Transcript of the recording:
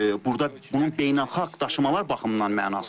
Burada bunun beynəlxalq daşımalar baxımından mənası var.